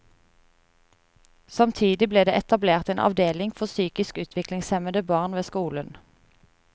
Samtidig ble det etablert en avdeling for psykisk utviklingshemmede barn ved skolen.